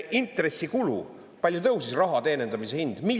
Intressikulu, palju tõusis raha teenindamise hind?